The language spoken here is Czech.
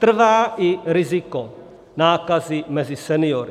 Trvá i riziko nákazy mezi seniory.